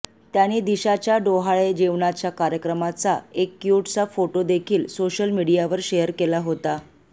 त्याने दिशाच्या डोहाळे जेवणाच्या कार्यक्रमाचा एक क्यूटसा फोटो देखील सोशल मीडियावर शेअर केला होता